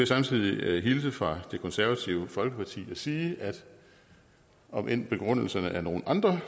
samtidig hilse fra det konservative folkeparti og sige omend begrundelserne er nogle andre